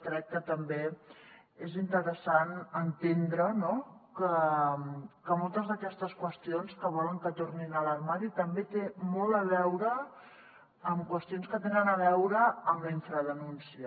crec que també és interessant entendre no que moltes d’aquestes qüestions que volen que tornin a l’armari també tenen molt a veure amb qüestions que tenen a veure amb la infradenúncia